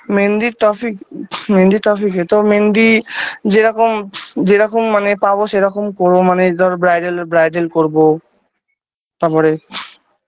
মেহেন্দির Topic মেহেন্দির topic -এ তো মেহেন্দি যে রকম যে রকম মানে পাবো সেই রকম করবো মানে ধরো bridal -এ bridal করবো তাপরে